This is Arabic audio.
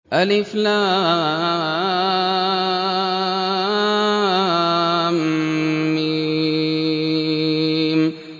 الم